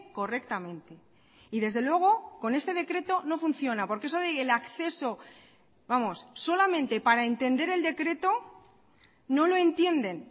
correctamente y desde luego con este decreto no funciona porque eso del acceso vamos solamente para entender el decreto no lo entienden